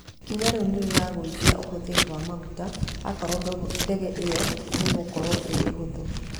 Ikinya rĩũ nĩrĩragũĩthĩa ũhũthĩrĩ wa magũta akorwo ndege ĩyo nĩgũkorwo ĩrĩ hũthũ